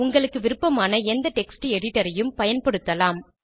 உங்களுக்கு விருப்பமான எந்த டெக்ஸ்ட் editorஐயும் பயன்படுத்தலாம்